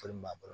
b'a bolo